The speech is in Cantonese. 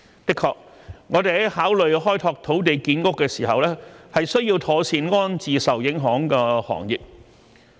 的確，我們在考慮開拓土地建屋時，需要妥善安置受影響的行業。